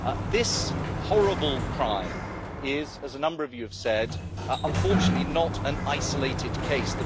This horrible crime is, as a number of you have said, unfortunately not an isolated case.